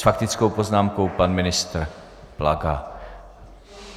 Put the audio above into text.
S faktickou poznámkou pan ministr Plaga.